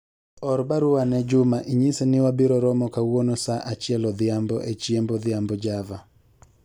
or barua ne Juma inyise ni wabiro romo kawuono saa achiel odhiambo e chiemb odhiambo Java